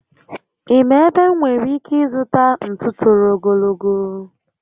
Ị ma ebe m nwèrè ike ịzụta ntú toro ogologo?